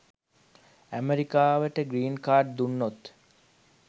ඇමරිකාවට green card දුන්නොත්